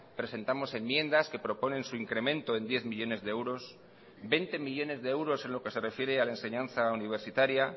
presentamos enmiendas que proponen su incremento en diez millónes de euros veinte millónes de euros en lo que se refiere a la enseñanza universitaria